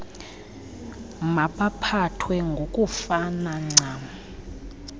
mabaphathwe ngokufana ncam